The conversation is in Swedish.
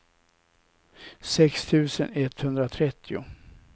sex tusen etthundratrettio